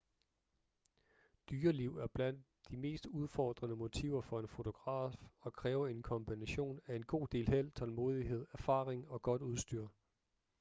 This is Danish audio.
dyreliv er blandt de mest udfordrende motiver for en fotograf og kræver en kombination af en god del held tålmodighed erfaring og godt udstyr